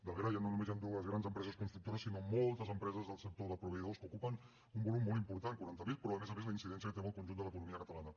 darrere no només hi han dues grans empreses constructores sinó moltes empreses del sector de proveïdors que ocupen un volum molt important quaranta mil però a més a més la incidència que té en el conjunt de l’economia catalana